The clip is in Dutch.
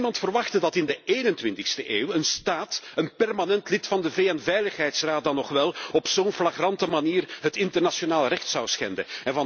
Niemand verwachtte dat in de 21e eeuw een staat, een permanent lid van de VN Veiligheidsraad dan nog wel, op zo'n flagrante manier het internationaal recht zou schenden.